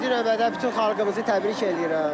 Birinci növbədə bütün xalqımızı təbrik eləyirəm.